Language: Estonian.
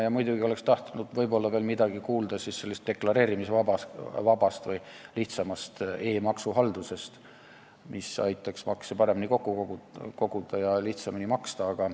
Ja muidugi oleks tahtnud veel midagi kuulda sellest deklareerimisvabast või lihtsamast e-maksuhaldusest, mis aitaks makse paremini kokku koguda ja lihtsamini maksta.